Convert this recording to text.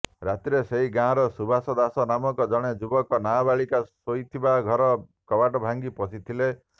ରାତିରେ ସେହି ଗାଁର ସୁବାସ ଦାସ ନାମକ ଜଣେ ଯୁବକ ନାବାଳିକା ଶୋଇଥିବା ଘର କବାଟ ଭାଙ୍ଗି ପଶିଥିଲେ